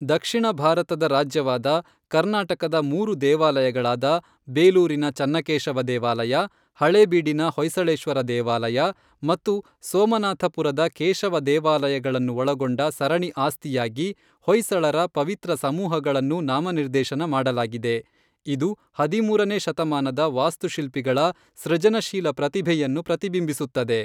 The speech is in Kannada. ದಕ್ಷಿಣ ಭಾರತದ ರಾಜ್ಯವಾದ ಕರ್ನಾಟಕದ ಮೂರು ದೇವಾಲಯಗಳಾದ ಬೇಲೂರಿನ ಚನ್ನಕೇಶವ ದೇವಾಲಯ, ಹಳೇಬೀಡಿನ ಹೊಯ್ಸಳೇಶ್ವರ ದೇವಾಲಯ ಮತ್ತು ಸೋಮನಾಥಪುರದ ಕೇಶವ ದೇವಾಲಯಗಳನ್ನು ಒಳಗೊಂಡ ಸರಣಿ ಆಸ್ತಿಯಾಗಿ ಹೊಯ್ಸಳರ ಪವಿತ್ರ ಸಮೂಹಗಳನ್ನು ನಾಮನಿರ್ದೇಶನ ಮಾಡಲಾಗಿದೆ, ಇದು ಹದಿಮೂರನೇ ಶತಮಾನದ ವಾಸ್ತುಶಿಲ್ಪಿಗಳ ಸೃಜನಶೀಲ ಪ್ರತಿಭೆಯನ್ನು ಪ್ರತಿಬಿಂಬಿಸುತ್ತದೆ.